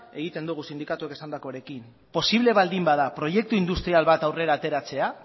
egiten dugu sindikatuak esandakoarekin posible baldin bada proiektu industrial bat aurrera ateratzea